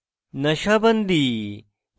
nasha bandi